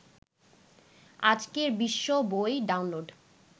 আজকের বিশ্ব বই ডাউনলোড